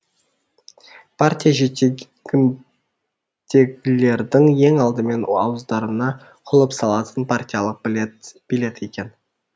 партия жетегіндегілердің ең алдымен ауыздарына құлып салатын партиялық билет екен